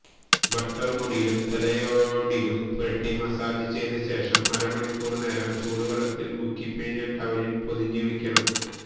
butter മുടിയിലും തലയോടിലും പുരട്ടി മസാജ് ചെയ്ത ശേഷം അരമണിക്കൂര് നേരം ചൂടുവെള്ളത്തില് മുക്കിപ്പിഴിഞ്ഞ ടവലില് പൊതിഞ്ഞുവയ്ക്കണം